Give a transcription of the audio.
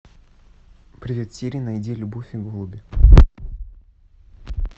привет сири найди любовь и голуби